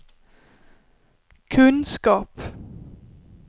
kunskap